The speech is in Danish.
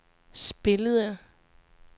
spillede